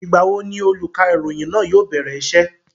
Ìgbà wo ni olùkàròyìn náà yóò bẹ̀rẹ̀ isẹ́?